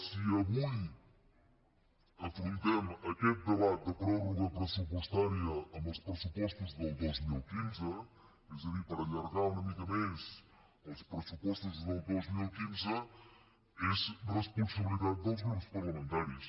si avui afrontem aquest debat de pròrroga pressupostària dels pressupostos del dos mil quinze és a dir per allargar una mica més els pressupostos del dos mil quinze és responsabilitat dels grups parlamentaris